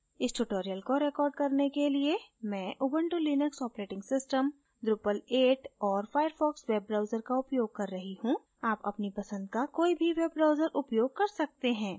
इस tutorial को record करने के लिए मैं Ubuntu Linux operating system drupal 8 औरfirefox web browser का उपयोग कर रही you आप अपने पसंद का कोई भी web browser उपयोग कर सकते हैं